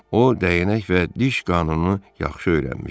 O dəyənək və diş qanunu yaxşı öyrənmişdi.